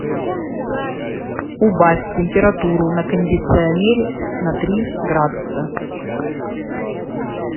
убавь температуру на кондиционере на три градуса